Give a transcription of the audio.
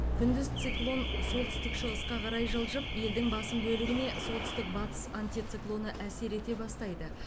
күндіз циклон солтүстік шығысқа қарай жылжып елдің басым бөлігіне солтүстік батыс антициклоны әсер ете бастайды